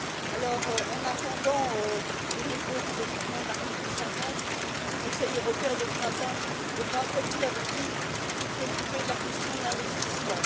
Alors, dans l'attente du dépôt des instruments de l'article 50, ce Conseil européen de printemps devra, comme vous l'avez dit, se préoccuper de la question de l'investissement.